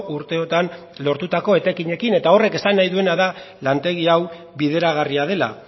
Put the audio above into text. urteotan lortutako etekinekin eta horrek esan nahi duena da lantegi hau bideragarria dela